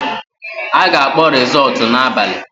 A ga-akpọ rizọọtụ n’ime abali